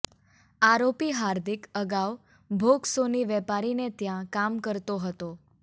આરોપી હાર્દિક અગાઉ ભોગ સોની વેપારીને ત્યાં કામ કરતો હતો